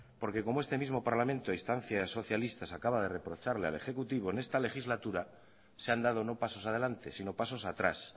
porque como este mismo parlamento a instancias socialistas acaba de reprocharle al ejecutivo en esta legislatura se han dado no pasos adelante sino pasos atrás